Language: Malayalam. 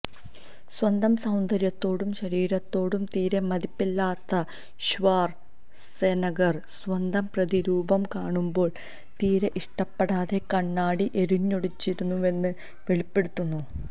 സ്വന്തം സൌന്ദര്യത്തോടും ശരീരത്തോടും തീരെ മതിപ്പില്ലാത്ത ഷ്വാര് സെനഗര് സ്വന്തം പ്രതിരൂപം കാണുമ്പോള് തീരെ ഇഷ്ടപ്പെടാതെ കണ്ണാടി എറിഞ്ഞുടച്ചിരുന്നുവെന്ന് വെളിപ്പെടുത്തുന്നു